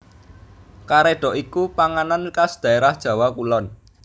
Karédhok iku panganan khas dhaérah Jawa Kulon